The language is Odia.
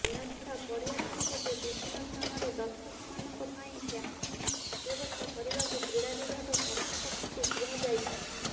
ଏହାଛଡ଼ା ପଡ଼ିଆ ଚାରିପଟେ ବିଭିନ୍ନ ସ୍ଥାନରେ ଦର୍ଶକମାନଙ୍କ ପାଇଁ ପାର୍କିଂ ବ୍ୟବସ୍ଥା କରିବାକୁ କ୍ରୀଡ଼ା ବିଭାଗ କର୍ତୃପକ୍ଷଙ୍କୁ କୁହାଯାଇଛି